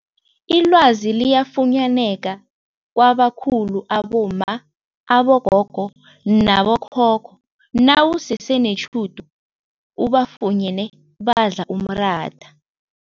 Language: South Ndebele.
Ilwazi liyafunyaneka kwabakhulu abomma, abogogo nabo khokho nawusese netjhudu ubafunyene badla umratha.